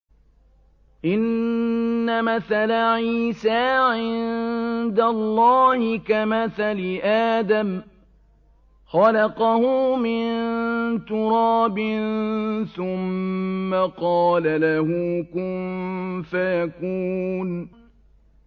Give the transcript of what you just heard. إِنَّ مَثَلَ عِيسَىٰ عِندَ اللَّهِ كَمَثَلِ آدَمَ ۖ خَلَقَهُ مِن تُرَابٍ ثُمَّ قَالَ لَهُ كُن فَيَكُونُ